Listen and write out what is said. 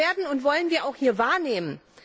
Und das werden und wollen wir auch wahrnehmen!